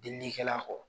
Diinɛ kɛla kɔ